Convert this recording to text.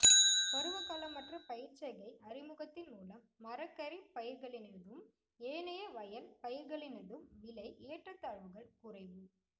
பருவகாலமற்ற பயிர்ச் செய்கை அறிமுகத்தின் மூலம் மரக்கறிப் பயிர்களினதும் ஏனைய வயல் பயிர்களினதும் விலை ஏற்றத்தாழ்வுகள் குறைவு